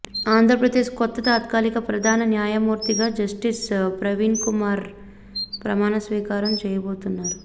ఆంధ్రప్రదేశ్ కొత్త తాత్కాలిక ప్రధాన న్యాయమూర్తిగా జస్టిస్ ప్రవీణ్కుమార్ ప్రమాణ స్వీకారం చేయబోతున్నారు